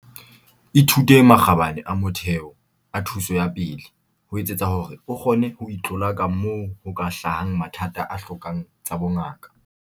Ithute makgabane a motheo a thuso ya pele, ho etsetsa hore o kgone ho itlolaka moo ho ka hlahang mathata a hlokang tsa bongaka.